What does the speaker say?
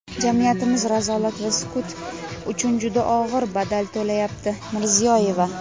Jamiyatimiz razolat va sukut uchun juda og‘ir badal to‘layapti – Mirziyoyeva.